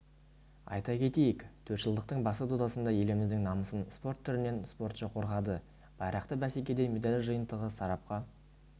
айта кетейік төртжылдықтың басты додасында еліміздің намысын спорт түрінен спортшы қорғады байрақты бәсекеде медаль жиынтығы сарапқа